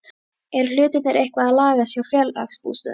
Eru hlutirnir eitthvað að lagast hjá Félagsbústöðum?